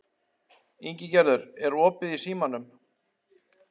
Ingigerður, er opið í Símanum?